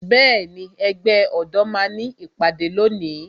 Bẹẹni, ẹgbẹ́ ọ̀dọ́ máa ní ìpàdé lónìí